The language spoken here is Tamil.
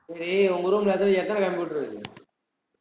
சேரி உங்க room ல எத்த~ எத்தன computer இருக்கு